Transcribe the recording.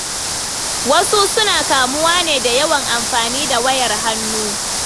Wasu suna kamuwa ne da yawan amfani da wayar hannu.